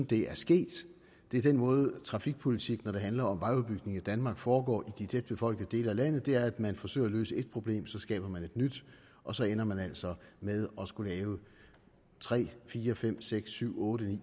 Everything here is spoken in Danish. det er sket det er den måde trafikpolitik når det handler om vejudbygning i danmark foregår på i de tætbefolkede dele af landet og det er at når man forsøger at løse et problem så skaber man et nyt og så ender man altså med at skulle lave tre fire fem seks syv otte ni